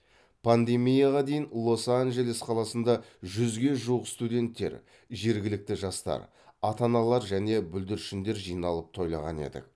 пандемияға дейін лос анджелес қаласында жүзге жуық студенттер жергілікті жастар ата аналар және бүлдіршіндер жиналып тойлаған едік